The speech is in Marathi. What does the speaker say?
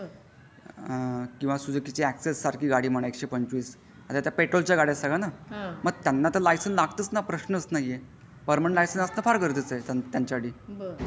किंवा सुझुकी ची ऍक्सेस सारखी गाडी म्हणा एकशे पंचवी आता पेट्रोलच्या गाड्या सगळ्या मग त्याना लायसेन्स लागताच प्रश्नच नाहीये पर्मनन्ट लायसेन्स फार गरजेचं आहे त्याच्या साठी.